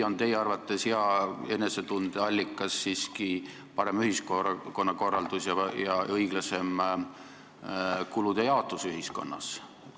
Või on teie arvates hea enesetunde allikas siiski parem ühiskonnakorraldus ja õiglasem kulude jaotus?